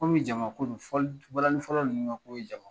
Kɔmi jama ko don , fɔli balanin fɔla ninnu ka ko ye jama ko ye